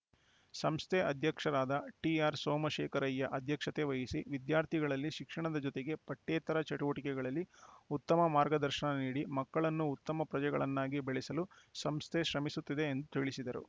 ಸಂಸ್ಥೆ ಅಧ್ಯಕ್ಷರಾದ ಟಿಆರ್‌ ಸೋಮಶೇಖರಯ್ಯ ಅಧ್ಯಕ್ಷತೆ ವಹಿಸಿ ವಿದ್ಯಾರ್ಥಿಗಳಲ್ಲಿ ಶಿಕ್ಷಣದ ಜೊತೆಗೆ ಪಠ್ಯೇತರ ಚಟುವಟಿಕೆಗಳಲ್ಲಿ ಉತ್ತಮ ಮಾರ್ಗದರ್ಶನ ನೀಡಿ ಮಕ್ಕಳನ್ನು ಉತ್ತಮ ಪ್ರಜೆಗಳನ್ನಾಗಿ ಬೆಳೆಸಲು ಸಂಸ್ಥೆ ಶ್ರಮಿಸುತ್ತಿದೆ ಎಂದು ತಿಳಿಸಿದರು